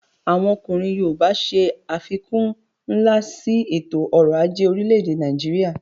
Àwọn ọkùnrin yoòbá ṣe àfikún nlá sí ètò ọrọ̀ ajé orílẹ̀-èdè Nàìjíríyà